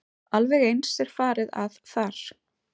Alveg eins er farið að þar.